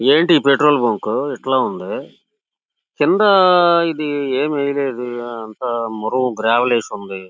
ఏంటి ఈ petrol bunk ఇట్లా ఉంది. కింద ఇది ఎం ఏయ్య్లేదే అంత మేరువు గ్రావెల్ ఈసుంది.